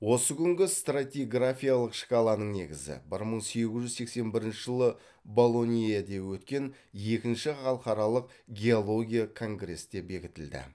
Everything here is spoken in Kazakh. осы күнгі стратиграфиялық шкаланың негізі бір мың сегіз жүз сексен бірінші жылы болоньеде өткен екінші халықаралық геология конгрестте бекітілді